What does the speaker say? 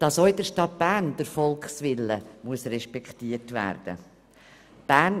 Dass auch in der Stadt Bern der Volkswille respektiert werden muss?